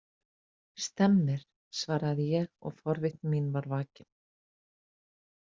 Stemmir, svaraði ég og forvitni mín var vakin.